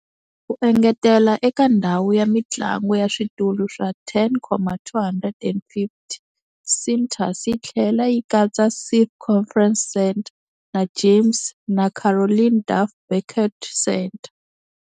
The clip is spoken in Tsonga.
Ku engetela eka ndhawu ya mintlangu ya switulu swa 10,250, Cintas yi tlhela yi katsa Schiff Conference Center na James na Caroline Duff Banquet Center.